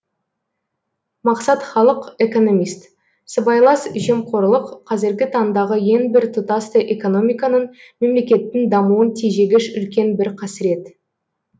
мақсат халық экономист сыбайлас жемқорлық қазіргі таңдағы ең бір тұтастай экономиканың мемлекеттің дамуын тежегіш үлкен бір қасірет